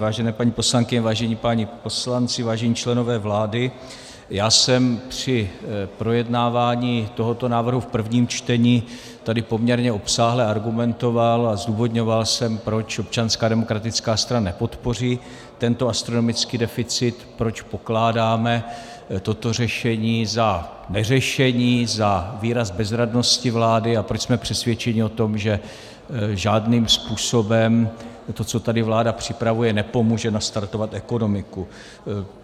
Vážené paní poslankyně, vážení páni poslanci, vážení členové vlády, já jsem při projednávání tohoto návrhu v prvním čtení tady poměrně obsáhle argumentoval a zdůvodňoval jsem, proč Občanská demokratická strana nepodpoří tento astronomický deficit, proč pokládáme toto řešení za neřešení, za výraz bezradnosti vlády a proč jsme přesvědčeni o tom, že žádným způsobem to, co tady vláda připravuje, nepomůže nastartovat ekonomiku.